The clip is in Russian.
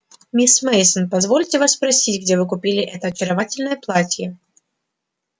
миссис мейсон позвольте вас спросить где вы купили это очаровательное платье